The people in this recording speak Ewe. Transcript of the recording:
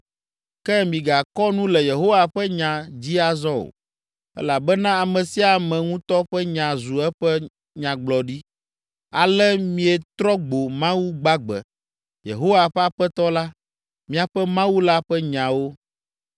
Ke migakɔ nu le ‘Yehowa ƒe nya’ dzi azɔ o, elabena ame sia ame ŋutɔ ƒe nya zu eƒe nyagblɔɖi, ale mietrɔ gbo Mawu gbagbe, Yehowa ƒe Aƒetɔ la, miaƒe Mawu la ƒe nyawo.